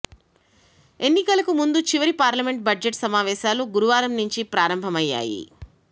ఎన్నికలకు ముందు చివరి పార్లమెంట్ బడ్జెట్ సమావేశాలు గురువారం నుంచి ప్రారంభమయ్యాయి